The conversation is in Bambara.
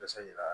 Basa yira